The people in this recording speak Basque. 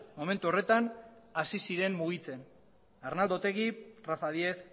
momentu horretan hasi ziren mugitzen arnaldo otegi rafa díez